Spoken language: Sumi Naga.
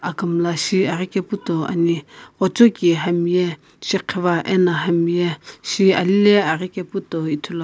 akumla shiaghi kae pu to ane ghojoki hamye shighiva ano hamye shililae aghikae pu toi ithulu ane --